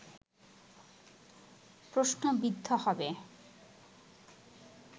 প্রশ্নবিদ্ধ হবে